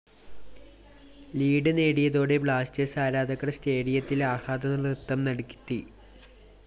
lead നേടിയതോടെ Blasters ആരാധകര്‍ സ്‌റ്റേഡിയത്തില്‍ ആഹ്ലാദനൃത്തം നടത്തി